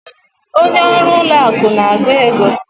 Onye ọrụ ụlọ akụ na-agụ ego.